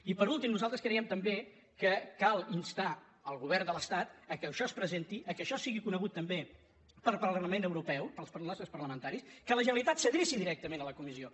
i per últim nosaltres creiem també que cal instar el govern de l’estat que això es presenti que això sigui conegut també pel parlament europeu pels nostres parlamentaris que la generalitat s’adreci directament a la comissió